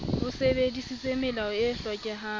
o sebedisitse melao e hlokehang